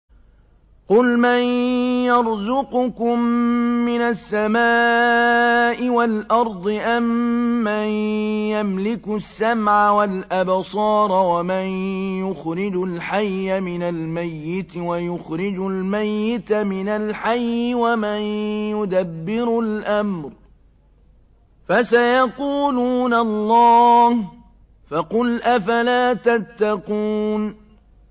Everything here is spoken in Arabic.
قُلْ مَن يَرْزُقُكُم مِّنَ السَّمَاءِ وَالْأَرْضِ أَمَّن يَمْلِكُ السَّمْعَ وَالْأَبْصَارَ وَمَن يُخْرِجُ الْحَيَّ مِنَ الْمَيِّتِ وَيُخْرِجُ الْمَيِّتَ مِنَ الْحَيِّ وَمَن يُدَبِّرُ الْأَمْرَ ۚ فَسَيَقُولُونَ اللَّهُ ۚ فَقُلْ أَفَلَا تَتَّقُونَ